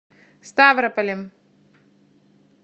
ставрополем